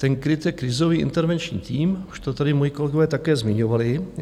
Ten KRIT je krizový intervenční tým, už to tady moji kolegové také zmiňovali.